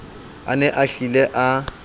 a ne a hlile a